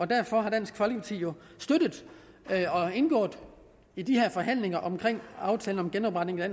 derfor har dansk folkeparti jo støttet og indgået i de her forhandlinger om aftalen om genopretning af